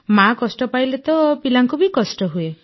ମାଆ କଷ୍ଟ ପାଇଲେ ତ ପିଲାଙ୍କୁ ବି କଷ୍ଟ ହୁଏ